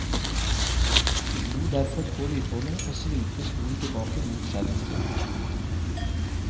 Slo derfor på lydbåndet og svingte stolen tilbake mot skjermen sin.